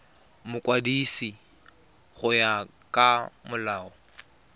mokwadisi go ya ka molao